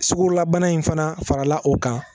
Sugulabana in fana farala o kan